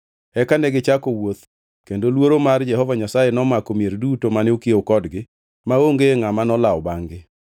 Eka negichako wuoth kendo luoro mar Jehova Nyasaye nomako mier duto mane okiewo kodgi maonge ngʼama nolawo bangʼ-gi.